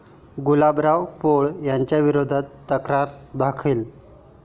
गुलाबराव पोळ यांच्याविरोधात तक्रार दाखल